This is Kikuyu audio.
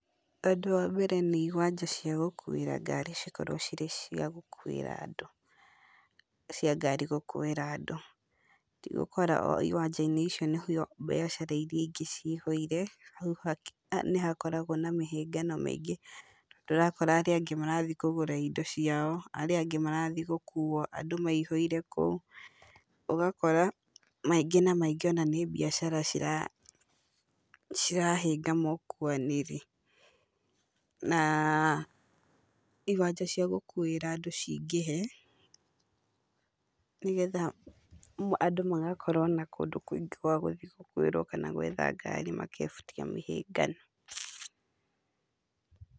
Ũndũ wa mbere nĩ iwanja ciagũkuĩra ngari cikorwo cirĩ cia gũkuĩra andũ tigũkorawo iwanja-inĩ icio nĩkuo mbiacara iria ingĩ ciothe cihũire, nĩhakoragwo na mĩhĩngano mĩingĩ. Ũrakora arĩa angĩ marathiĩ kũgũra indo ciao, arĩa angĩ marathiĩ gũkuo, andũ maihũire kũu, ũgakora maingĩ na maingĩ mbiacara cirahĩnga mũkuanĩre, na iwanja cia gũkuĩra andũ cingĩhe, nĩgetha andũ magakorwo na kũndũ kũingĩ gwa gũthiĩ gũkuĩrwo kana gwetha ngari, magebutia mĩhĩnga ĩno.